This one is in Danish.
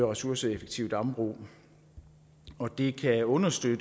ressourceeffektive dambrug og det kan understøtte